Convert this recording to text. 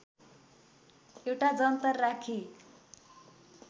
एउटा जन्तर राखी